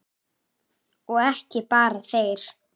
Og ekki bara þeir.